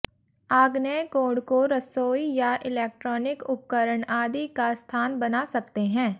आग्नेय कोण को रसोई या इलैक्ट्रॉनिक उपकरण आदि का स्थान बना सकते हैं